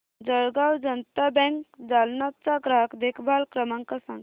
Jalgaon Janata bank Jalna चा ग्राहक देखभाल क्रमांक सांग